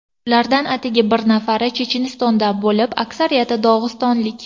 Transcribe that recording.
Ulardan atigi bir nafari Chechenistondan bo‘lib, aksariyati dog‘istonlik.